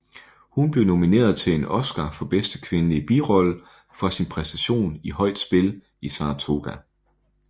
Hun blev nomineret til en Oscar for bedste kvindelige birolle for sin præstation i Højt spil i Saratoga